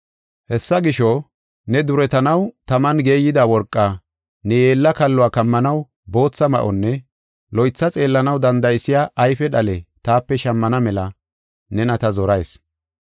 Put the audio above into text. Hessa gisho, ne duretanaw taman geeyida worqaa, ne yeella kalluwa kammanaw bootha ma7onne loytha xeellanaw danda7isiya ayfe dhale taape shammana mela nena ta zorayis.